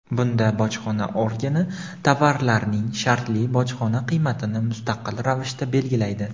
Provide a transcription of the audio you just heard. Bunda bojxona organi tovarlarning shartli bojxona qiymatini mustaqil ravishda belgilaydi.